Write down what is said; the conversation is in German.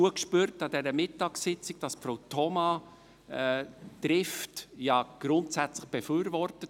Wir spürten es an dieser Mittagssitzung gut, dass Frau Thoma Trift grundsätzlich befürwortet.